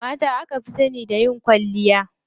Mata aka fi sani da yin kwalliya.